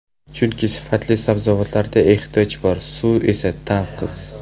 Chunki sifatli sabzavotlarga ehtiyoj bor, suv esa tanqis.